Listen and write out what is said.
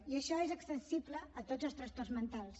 i això és extensible a tots els trastorns mentals